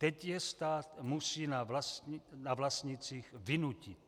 Teď je stát musí na vlastnících vynutit.